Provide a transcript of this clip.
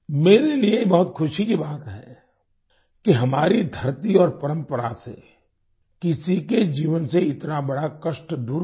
मेरे लिए ये बहुत खशी की बात है कि हमारी धरती और परंपरा से किसी के जीवन से इतना बड़ा कष्ट दूर हुआ